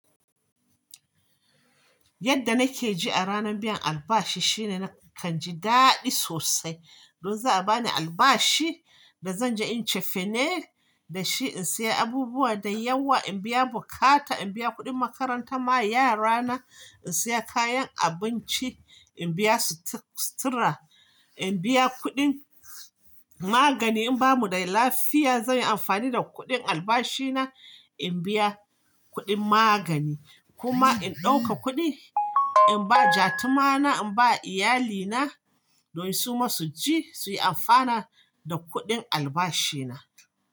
Yadda nake ji a ranan biyan albashi shine nakan ji daɗi sosai. Don za a bani albashi da zan je in yi cefane da shi, in sayi abubuwa da yawa, in biya bukata, in biya kuɗin makaranta ma yarana, in sayi kayan abinci, in biyasutu-- sutura, in biya kuɗin magani in bamu da lafiya, zan yi amfani da kuɗin albashi na in biya kuɗin magani kuma in ɗauka kuɗi in ba ja tumana, in ba iyalina don su ma su ci su yi amfana da kuɗin albashi na.